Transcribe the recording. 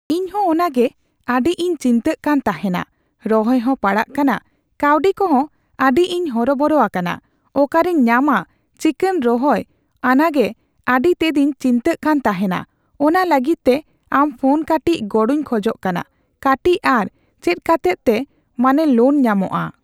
ᱤᱧ ᱦᱚᱸ ᱚᱱᱟᱜᱮ ᱟᱰᱤ ᱤᱧ ᱪᱤᱱᱛᱟᱹ ᱠᱟᱱ ᱛᱟᱸᱦᱮᱱᱟ ᱨᱚᱦᱚᱭ ᱦᱚᱸ ᱯᱟᱲᱟᱜ ᱠᱟᱱᱟ ᱠᱟᱣᱰᱤ ᱠᱚᱦᱚᱸ ᱟᱰᱤ ᱤᱧ ᱦᱚᱨᱚ ᱵᱚᱨᱚ ᱟᱠᱟᱱᱟ ᱚᱠᱟᱨᱤᱧ ᱧᱟᱢᱟ ᱪᱮᱠᱟᱹᱧ ᱨᱚᱦᱚᱭ ᱟᱱᱟᱜᱮ ᱟᱰᱤ ᱛᱮᱫᱤᱧ ᱪᱤᱱᱛᱟᱹᱜ ᱠᱟᱱ ᱛᱟᱸᱦᱮᱱᱟ ᱚᱱᱟ ᱞᱟᱹᱜᱤᱛᱜᱮ ᱟᱢ ᱯᱷᱳᱱ ᱠᱟᱴᱤᱪ ᱜᱚᱲᱚᱤᱧ ᱠᱷᱚᱡᱚᱜ ᱠᱟᱱᱟ ᱠᱟᱴᱤᱪ ᱟᱨ ᱪᱮᱫ ᱠᱟᱛᱮᱫ ᱛᱮ ᱢᱟᱱᱮ ᱞᱳᱱ ᱧᱟᱢᱚᱜᱼᱟ